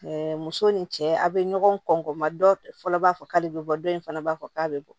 muso ni cɛ a be ɲɔgɔn kɔn ma dɔ fɔlɔ b'a fɔ k'ale bɛ bɔ dɔ in fana b'a fɔ k'a bɛ bɔ